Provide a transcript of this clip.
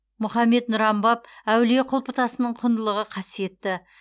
мұхаммед нұран баб әулие құлпытасының құндылығы қасиетті